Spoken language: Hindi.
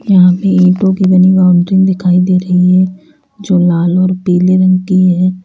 यहां पे ईंटों की बनी बाउंड्री दिखाई दे रही है जो लाल और पीले रंग की है।